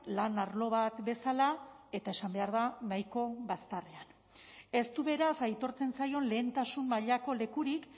lan arlo bat bezala eta esan behar da nahiko bazterrean ez du beraz aitortzen zaion lehentasun mailako lekurik